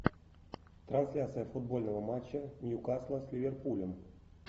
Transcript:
трансляция футбольного матча ньюкасла с ливерпулем